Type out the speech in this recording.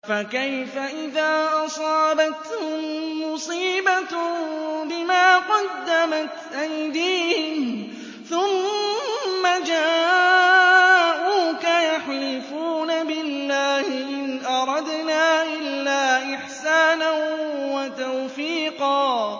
فَكَيْفَ إِذَا أَصَابَتْهُم مُّصِيبَةٌ بِمَا قَدَّمَتْ أَيْدِيهِمْ ثُمَّ جَاءُوكَ يَحْلِفُونَ بِاللَّهِ إِنْ أَرَدْنَا إِلَّا إِحْسَانًا وَتَوْفِيقًا